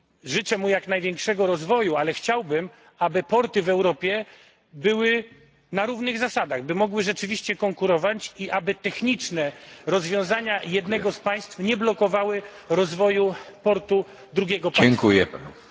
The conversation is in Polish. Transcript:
Życzę mu jak największego rozwoju, ale chciałbym, aby porty w Europie traktowane były na równych zasadach, by mogły rzeczywiście konkurować i aby techniczne rozwiązania jednego z państw nie blokowały rozwoju portu drugiego państwa..